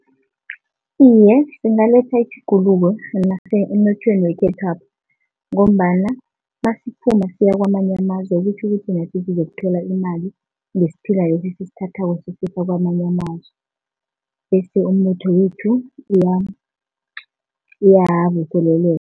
Iye, singaletha itjhuguluko emnothweni wekhethwapha, ngombana nasiphuma siyakwamanye amazwe kutjhukuthi nathi sizokuthola imali ngesiphila lesi esisithathako sisakwamanye amazwe, bese umnotho wethu uyavuseleleka.